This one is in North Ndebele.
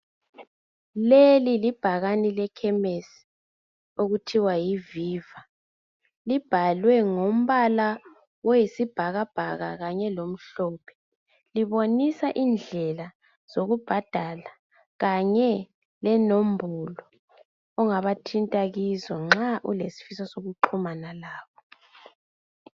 Leli libhakane lekhemesi okuthiwa yiViva. Libhalwe ngombala oyisibhakabhaka kanye lomhlophe. Libonisa indlela zokubhadala kanye lenombolo ongabathinta kizo nxa ulesifiso sokuxhumana labo.